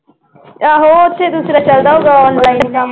ਆਹੋ ਉੱਥੇ ਦੂਸਰਾ ਚੱਲਦਾ ਹੋਊਗਾ online ਕੰਮ